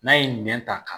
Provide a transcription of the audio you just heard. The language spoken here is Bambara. N'a ye nɛn ta